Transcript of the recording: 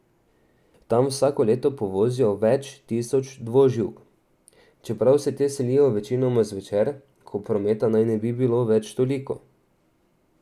Tam vsako leto povozijo več tisoč dvoživk, čeprav se te selijo večinoma zvečer, ko prometa naj ne bi bilo več toliko.